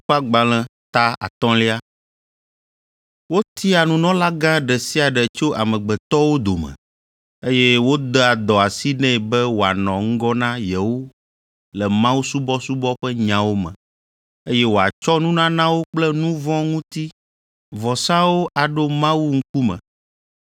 Wotiaa nunɔlagã ɖe sia ɖe tso amegbetɔwo dome, eye wodea dɔ asi nɛ be wòanɔ ŋgɔ na yewo le mawusubɔsubɔ ƒe nyawo me, eye wòatsɔ nunanawo kple nu vɔ̃ ŋuti vɔsawo aɖo Mawu ŋkume.